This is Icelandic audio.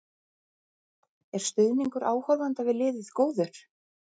Er stuðningur áhorfenda við liðið góður?